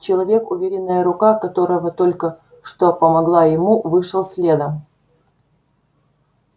человек уверенная рука которого только что помогла ему вышел следом